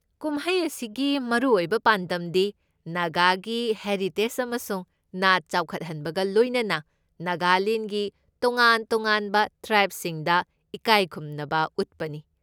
ꯀꯨꯝꯍꯩ ꯑꯁꯤꯒꯤ ꯃꯔꯨꯑꯣꯏꯕ ꯄꯥꯟꯗꯝꯗꯤ ꯅꯥꯒꯥꯒꯤ ꯍꯦꯔꯤꯇꯦꯖ ꯑꯃꯁꯨꯡ ꯅꯥꯠ ꯆꯥꯎꯈꯠꯍꯟꯕꯒ ꯂꯣꯏꯅꯅ ꯅꯥꯒꯥꯂꯦꯟꯒꯤ ꯇꯣꯉꯥꯟ ꯇꯣꯉꯥꯟꯕ ꯇ꯭ꯔꯥꯞꯁꯤꯡꯗ ꯏꯀꯥꯏꯈꯨꯝꯅꯕ ꯎꯠꯄꯅꯤ꯫